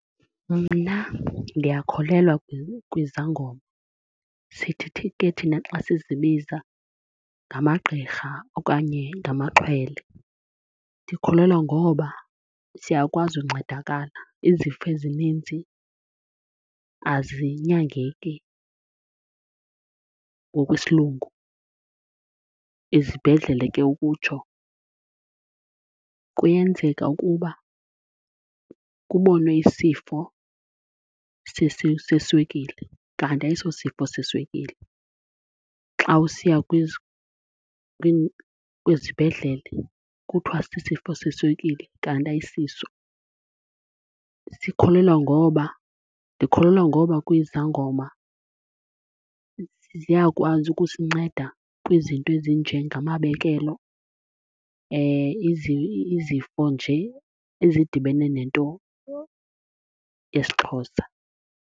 Mna ndiyakholelwa kwizangoma. Sithi ke thina xa sizibiza ngamagqirha okanye ngamaxhwele. Ndikholelwa ngoba siyakwazi uncedakala. Izifo ezininzi azinyangeki ngokwesilungu, ezibhedlele ke ukutsho. Kuyenzeka ukuba kubonwe isifo seswekile kanti ayiso sifo seswekile. Xa usiya kwizibhedlele kuthiwa sisifo seswekile kanti ayisiso. Sikholelwa ngoba, ndikholelwa ngoba kwizangoma ziyakwazi ukusinceda kwizinto ezinjengamabekelo, izifo nje ezidibene nento yesiXhosa